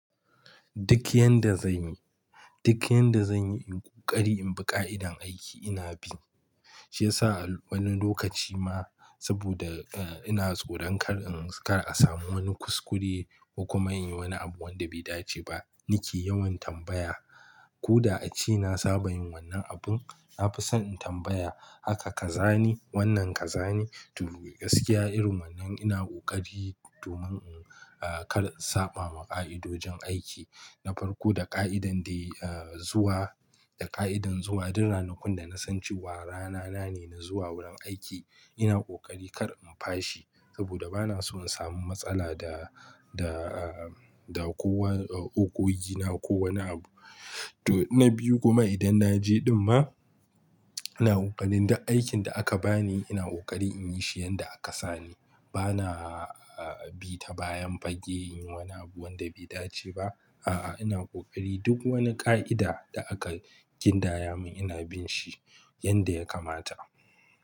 Duk yanda zanyi, duk yanda zanyi in ƙoƙari in bi ƙa'idan aiki ina bi. Shi yasa a wani lokaci ma saboda, eh, ina tsoron kar in, kar a samu wani kuskure ko kuma in yi wani abu wanda bai dace ba. Ni ke yawan tambaya ko da a ce na saba yin wannan abun, na fi son in tambaya haka ka zane wannan ka zane. To, gaskiya irin wannan ina ƙoƙari domin in, eh, kar in saɓa ma ƙa'idojin aiki. Na farko da ƙa'idar dai, eh, zuwa, da ƙa'idar zuwa duk ranakun da na san cewa rana na ne na zuwa wurin aiki ina ƙoƙari kar in fashi saboda ba na so in samu matsala da, da, eh, da kowa, eh, ogogina ko wani abu. To, na biyu kuma idan na je ɗin ma ina ƙoƙarin duk aikin da aka bani ina ƙoƙari in yi shi yanda aka sa ni. Ba na, eh, bi ta bayan fage in yi wani abu wanda bai dace ba. A'a, ina ƙoƙari duk wani ƙa'ida da aka gindaya mun ina bin shi yanda ya kamata.